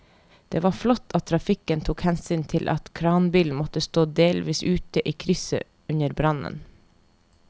Det var flott at trafikken tok hensyn til at kranbilen måtte stå delvis ute i krysset under brannen.